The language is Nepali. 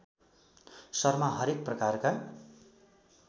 शर्मा हरेक प्रकारका